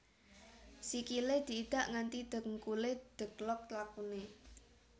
Sikilé diidak nganti dhengkulé dheglok lakuné